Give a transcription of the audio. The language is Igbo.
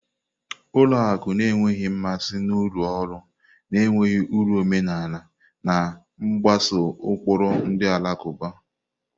Ụlọ akụ na-enweghị mmasị na-urụ ọrụ na-enweghị uru omenala, na-mgbaso ụkpụrụ ndi alakuba.